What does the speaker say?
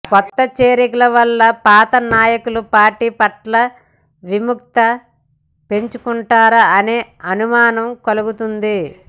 కొత్త చేరికల వలన పాత నాయకులు పార్టీ పట్ల విముఖత పెంచుకుంటున్నారా అనే అనుమానం కలుగుతోంది